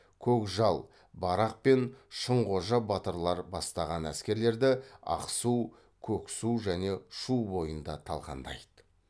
көкжал барақ пен шынқожа батырлар бастаған әскерлерді ақсу көксу және шу бойында талқандайды